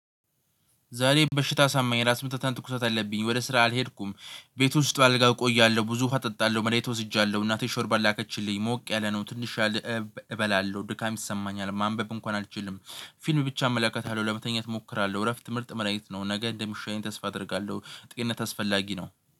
ዛሬ በሽታ አሞኝ ራስ ምትትና ትኩሰት አለብኝ፤ ወደ ስራ አልሄድኩም፤ ቤት ውስጥ በአልጋ እቆያለሁ ብዙ ውሃ እጠጣለሁ መሬት ወስጃለሁ እናቴን ሾርባ ላከችልኝ ሞቅ ያለ ነው ትንሽ እበላለሁ ድካም ይሰማኛል፤ ማንበብ እንኳን አልችልም፤ ፊልም ብቻ አመለካታለሁ፤ ለመተኛት እሞክራለሁ። እረፍት ምርጥ መዳኒት ነው። ነገ እንደምሻለኝ ተስፋ አደርጋለሁ ጤንነት አስፈላጊ ነው